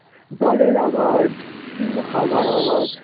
জলের আওয়াজ সুন্দর হাওয়ার আওয়াজ